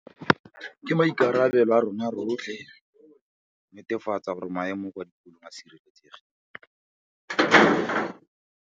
Ke maikarabelo a rona rotlhe go netefatsa gore maemo kwa dikolong a sireletsegile.